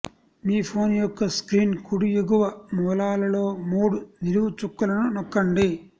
మీ phone యొక్క screen కుడి ఎగువ మూలలో మూడు నిలువు చుక్కలను నొక్కండి